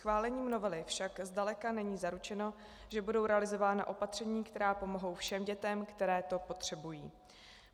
Schválením novely však zdaleka není zaručeno, že budou realizována opatření, která pomohou všem dětem, které to potřebují.